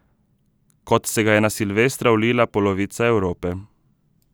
Kot se ga je na silvestra vlila polovica Evrope.